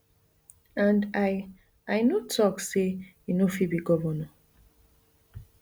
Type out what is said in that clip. and i i no tok say e no fit be govnor